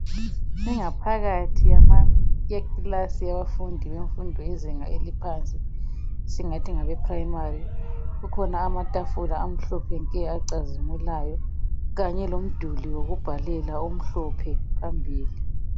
Ingaphakathi yekilasi yabafundi bemfundo yezinga eliphansi esingathi ngabe primary. Kukhona amatafula amhlophe acazimulayo kanye lomduli wokubhalela omhlophe phambili